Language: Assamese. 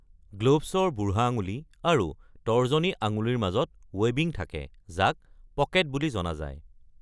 গ্লভছৰ বুঢ়া আঙুলি আৰু তৰ্জনী আঙুলিৰ মাজত ৱেবিং থাকে, যাক "পকেট" বুলি জনা যায়।